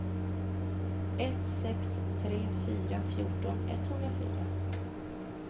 ett sex tre fyra fjorton etthundrafyra